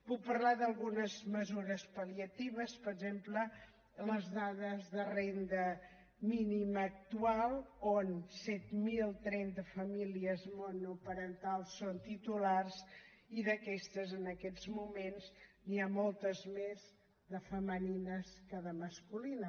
puc parlar d’algunes mesures pal·liatives per exemple les dades de renda mínima actual on set mil trenta famílies monoparentals en són titulars i d’aquestes en aquestes moments n’hi ha moltes més de femenines que de masculines